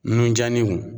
Nun diyalen don